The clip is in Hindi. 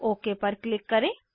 ओक पर क्लिक करें